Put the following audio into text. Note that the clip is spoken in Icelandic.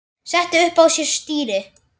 setti upp á sér stýri